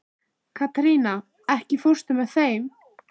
Katharina, ekki fórstu með þeim?